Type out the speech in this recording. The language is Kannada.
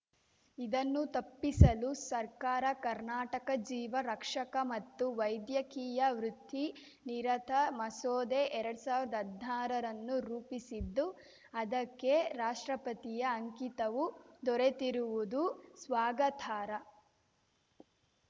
ಇದನ್ನು ತಪ್ಪಿಸಲು ಸರ್ಕಾರ ಕರ್ನಾಟಕ ಜೀವ ರಕ್ಷಕ ಮತ್ತು ವೈದ್ಯಕೀಯ ವೃತ್ತಿ ನಿರತ ಮಸೂದೆ ಎರಡ್ ಸಾವಿರ್ದಾ ಹದ್ನಾರನ್ನು ರೂಪಿಸಿದ್ದು ಅದಕ್ಕೆ ರಾಷ್ಟ್ರಪತಿಯ ಅಂಕಿತವೂ ದೊರೆತಿರುವುದು ಸ್ವಾಗತಾರ್ಹ